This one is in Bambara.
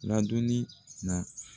ladonni na.